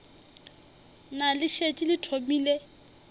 na le šetše le thomile